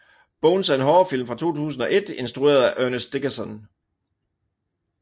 Bones er en horrorfilm fra 2001 instrueret af Ernest Dickerson